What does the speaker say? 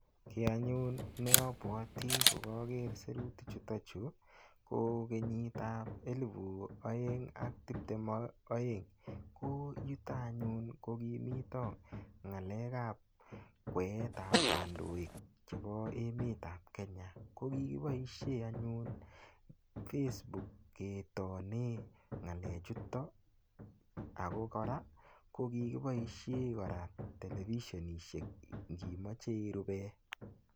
Ki anyun ne abwati ko kager sirutichuto chu ko kenyitab 2022, ko yuto anyun ko kimito ngalekab kweetab kandoik chebo emetab Kenya ko kikiboisie anyun facebook ketoni ngalechuto ago kora ko kikiboisien kora televisionishek ngimoche irupe.